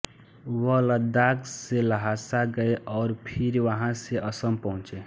वह लद्दाख से ल्हासा गये और फिर वहाँ से असम पहुँचे